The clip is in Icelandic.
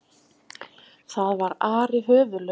Það var Ari höfuðlaus!